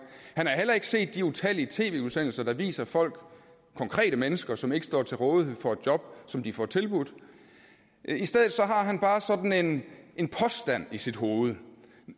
han har heller ikke set de utallige tv udsendelser der viser folk konkrete mennesker som ikke står til rådighed for et job som de får tilbudt i stedet har han bare sådan en påstand i sit hoved